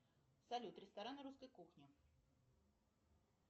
салют рестораны русской кухни